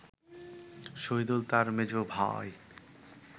শহিদুল তার মেজ ভাই